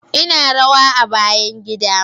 Ina rawa a bayan gida